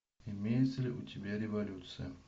имеется ли у тебя революция